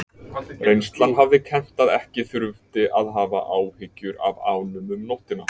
Reynslan hafði kennt að ekki þurfti að hafa áhyggjur af ánum um nóttina.